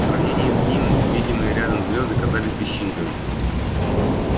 в сравнении с ними видимые рядом звезды казались песчинками